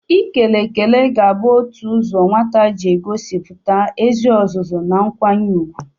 Ikele ekele ga-abụ otu ụzọ nwata ji egosipụta ezi ọzụzụ na nkwanye ugwu.